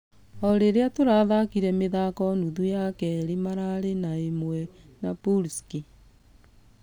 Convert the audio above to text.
Ũrĩrĩa tũrathakire mũthako nuthu ya kerĩ , mararĩ na ....ĩmwe na pulsic.